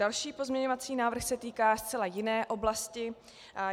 Další pozměňovací návrh se týká zcela jiné oblasti.